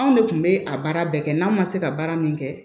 Anw de tun bɛ a baara bɛɛ kɛ n'an ma se ka baara min kɛ